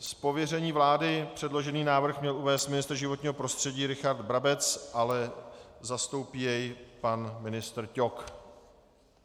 Z pověření vlády předložený návrh měl uvést ministr životního prostředí Richard Brabec, ale zastoupí jej pan ministr Ťok.